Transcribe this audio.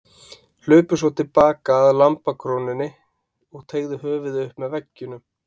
Hlupu svo til baka að lambakrónni og teygðu höfuðið upp með veggjunum.